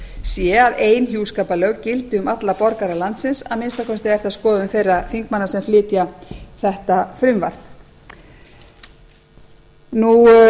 sé að ein hjúskaparlög gildi um alla borgara landsins að minnsta kosti er það skoðun þeirra þingmanna sem flytja þetta frumvarp af því